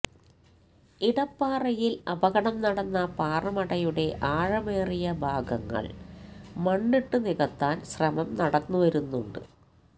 ഇടപ്പാറയില് അപകടം നടന്ന പാറമടയുടെ ആഴമേറിയ ഭാഗങ്ങള് മണ്ണിട്ടുനികത്താന് ശ്രമം നടന്നുവരുന്നുണ്ട്